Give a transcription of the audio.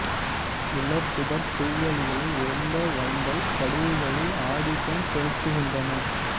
உலர் புதர் புல்வெளிகள் உயர்ந்த வண்டல் படிவுகளில் ஆதிக்கம் செலுத்துகின்றன